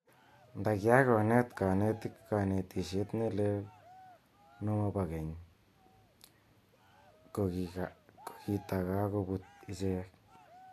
Nda kiakonet kanetik kantishet ne lel no mopo keny, ko kitakakoput ichek.